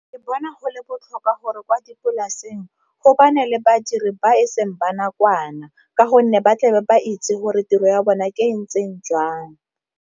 Ke bona go le botlhokwa gore kwa dipolaseng le badiri ba eseng ba nakwana, ka gonne ba tle ba itse gore tiro ya bona ke ntseng jang.